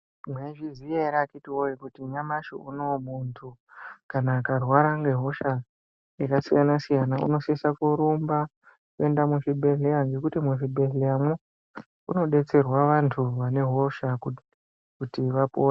Mwaizviya ere akiti woye kuti nyamashi unou muntu kana akarwara ngehosha yakasiyana siyana unosisa kurumba kuenda muzvibhedhlera ngekuti muzvibhedhleramwo munodetserwa vantu vane hosha kuti vapone.